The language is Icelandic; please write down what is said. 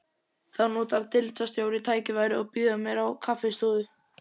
Þá notar deildarstjóri tækifærið og býður mér á kaffistofu